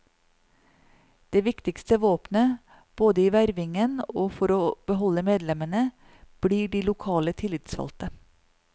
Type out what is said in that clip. Det viktigste våpenet, både i vervingen og for å beholde medlemmene, blir de lokale tillitsvalgte.